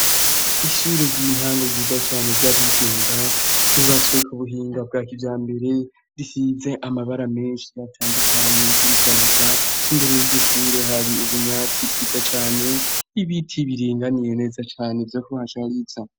Ishure ry'intango ryiza cane ry'abigenga ryubatswe k'ubuhinga bwakijambere risize amabara menshi atandukanye kurishariza. Imbere y'iryoshure hari ubwatsi bwiza cane n'ibiti biringaniye neza cane vyo kuhashariza.